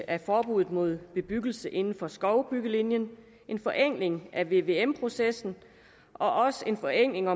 af forbuddet mod bebyggelse inden for skovbyggelinjen en forenkling af vvm processen og også en forenkling